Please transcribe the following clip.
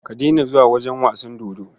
Ka daina zuwa wajen wasan dodo.